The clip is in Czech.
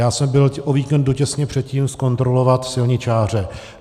Já jsem byl o víkendu těsně předtím zkontrolovat silničáře.